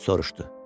Sorşdu: